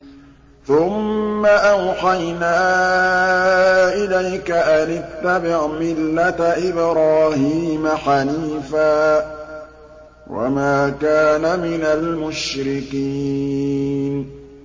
ثُمَّ أَوْحَيْنَا إِلَيْكَ أَنِ اتَّبِعْ مِلَّةَ إِبْرَاهِيمَ حَنِيفًا ۖ وَمَا كَانَ مِنَ الْمُشْرِكِينَ